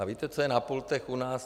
A víte, co je na pultech u nás?